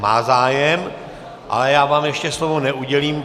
Má zájem, ale já vám ještě slovo neudělím.